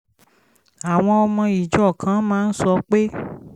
àwọn ọmọ ìjọ kan máa ń sọ pé